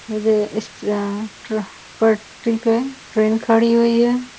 और इस पटरी पे ट्रेन खड़ी हुई है।